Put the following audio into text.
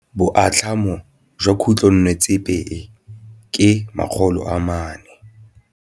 Boatlhamô jwa khutlonnetsepa e, ke 400.